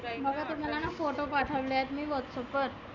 बघा तुम्हालाना photo पाठवला आहे whatsapp वर.